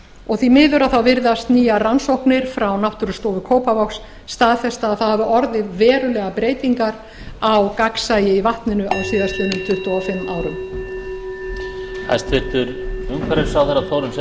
og því miður virðast nýjar rannsóknir frá náttúrustofu kópavogs staðfesta að það hafi orðið verulegar breytingar á gagnsæi í vatninu á síðastliðnum tuttugu og fimm árum